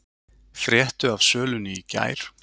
Fréttu af sölunni í gær